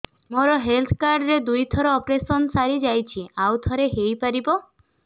ମୋର health card ରେ ଦୁଇ ଥର ଅପେରସନ ସାରି ଯାଇଛି ଆଉ ଥର ହେଇପାରିବ